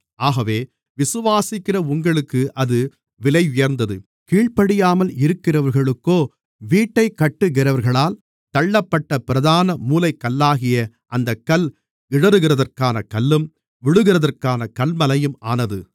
ஆகவே விசுவாசிக்கிற உங்களுக்கு அது விலையுயர்ந்தது கீழ்ப்படியாமல் இருக்கிறவர்களுக்கோ வீட்டைக் கட்டுகிறவர்களால் தள்ளப்பட்ட பிரதான மூலைக்கல்லாகிய அந்தக் கல் இடறுகிறதற்கான கல்லும் விழுகிறதற்கான கன்மலையும் ஆனது